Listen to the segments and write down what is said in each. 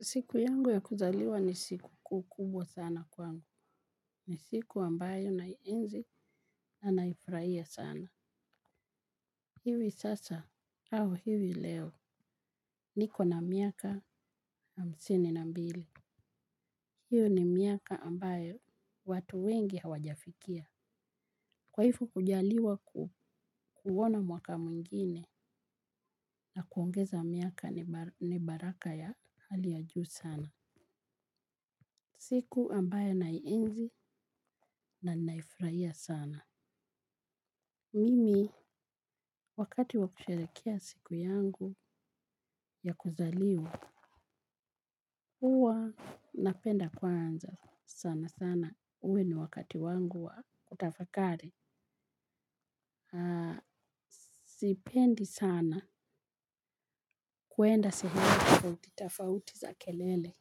Siku yangu ya kuzaliwa ni siku kubwa sana kwangu ni siku ambayo naienzi na naifurahia sana iwi sasa au iwi leo niko na miaka hamsini na mbili hiyo ni miaka ambayo watu wengi hawajafikia. Kwa hivyo kujaliwa kuona mwaka mwingine na kuongeza miaka ni baraka ya hali ya juu sana. Siku ambayo na inzi na naifraia sana Mimi, wakati wakusherehekea siku yangu ya kuzaliwa, huwa napenda kwanza sana sana. Uwe na wakati wangu wa kutafakari. Sipendi sana kuenda sehemu tofauti tofauti za kelele.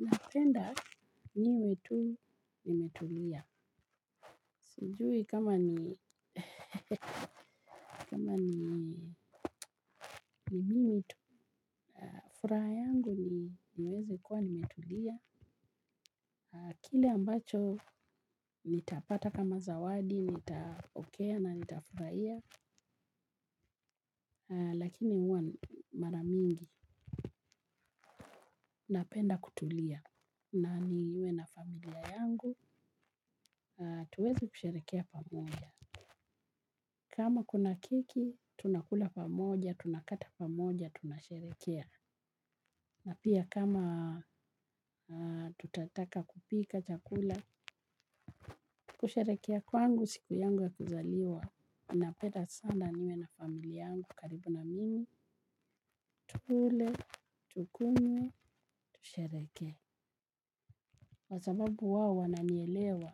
Napenda niwe tu nimetulia. Sijui kama ni mimi tu. Furaha yangu ni niwezekuwa nimetulia. Kile ambacho nitapata kama zawadi nitapokea na nitafurahia. Lakini huwa mara mingi, napenda kutulia na niwe na familia yangu, tuweze kusherehekea pamoja. Kama kuna kiki, tunakula pamoja, tunakata pamoja, tunasherekea. Na pia kama tutataka kupika chakula, kusherehekea kwangu, siku yangu ya kuzaliwa ninapenda sana niwe na familia yangu karibu na mimi, tukule, tukunywe, tushereheke kwa sababu wao wananielewa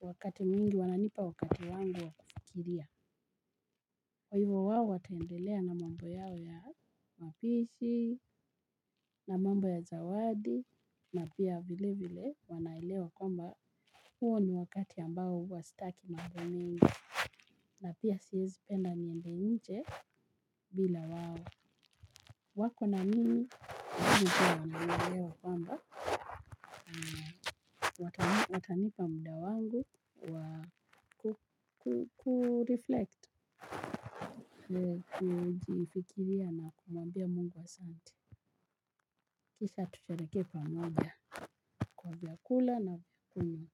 wakati mwingi wananipa wakati wangu wa kufikiria kwa hivyo wao wataendelea na mambo yao ya mapishi na mambo ya zawadi na pia vile vile wanaelewa kwamba huo ni wakati ambao huwa sitaki mambo mengi. Na pia siwezi penda niende nje bila wao. Wako na mimi hivyo ninaelewa kwamba. Watanipa muda wangu wa kuriflekt. Kujifikiria na kumwambia Mungu asante. Kisha tushereheke pamoja kwa vyakula na kunywa.